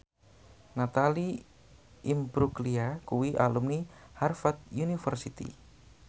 Natalie Imbruglia kuwi alumni Harvard university